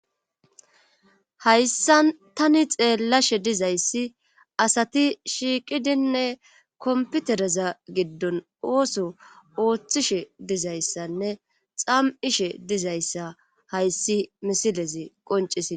Hayssan tani xeelashe dizayssi asati shiiqidinne komppitreza giddon oos oothishe dizayssanne xam77ishe dizayssa hayssi misile qonnccisi